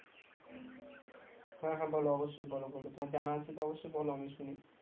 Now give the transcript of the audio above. হ্যাঁ হ্যাঁ বলো অবশ্যই বলো তোমার জানা আছে তো অবশ্যই বলো আমি শুনি